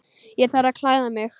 Ég þarf að klæða mig.